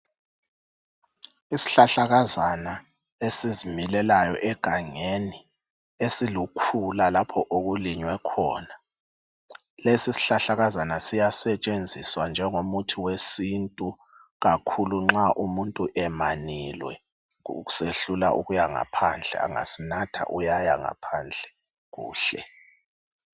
Isihlakazana esizimilelayo egangeni lokulukhulula lapha okulinywe khona. Lesi isihlahlakazana siyasetshenziswa njengomuthi wesintu kakhulu nxa umuntu emaniliwe kusehlulela ukuyangaphandle angasinatha uyayangaphandle.